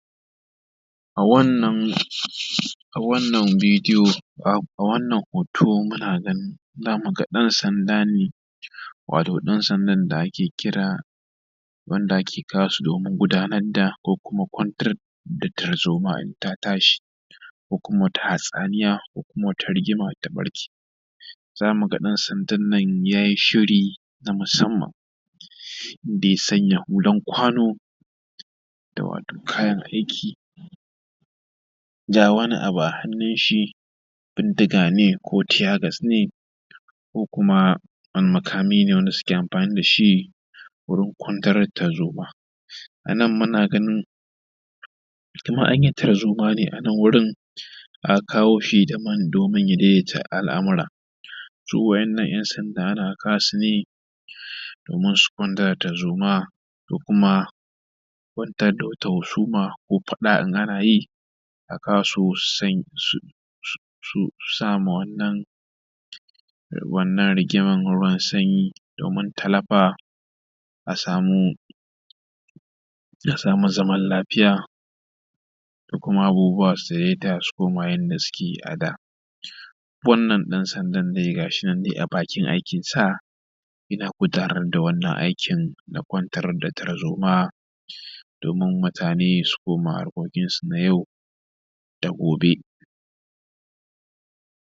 A wannan a wannan bidiyo a a wannan hoto muna nan za muga ɗan sanda ne wato ɗan sandan da ake kira wanda ake kawo su domin gudanar da ko kuma kwantar da tarzoma in ta tashi ko kuma wata hatsaniya ko kuma wata rigima ta ɓarke, za mu ga ɗan sandan nan yayi shiri na musamman inda ya sanya hulan kwano da wato kayan aiki ga wani abu a hannun shi bindiga ne ko tear gas ne ko kuma wani makami ne wanda suke amfani da shi wurin kwantar da tarzoma. A nan muna ganin kamar an yi tarzoma ne a nan wurin aka kawo shi daman domin ya daidaita al’amura. To wa’innan ƴan sanda ana kawo su ne domin su kwantar da tarzoma ko kuma kwantar da wata husuma ko faɗa in ana yi a kawo su su su sama wannan wannan rigiman ruwan sanyi domin tallafa a samu a samu zaman lafiya ko kuma abubuwa su daidaita su yanda suke yi a da. Wannan ɗan sandan dai gashi nan a bakin aikinsa yana gudanar da wannan aikin na kwantar da tarzoma domin mutane su koma harkokin su na yau da gobe.